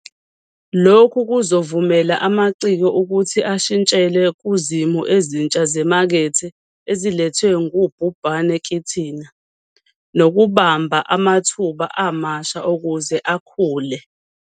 Lokhu kuzovumela amaciko ukuthi ashintshele kuzimo ezintsha zemakethe ezilethwe ngubhubhane kithina nokubamba amathuba amasha ukuze akhule.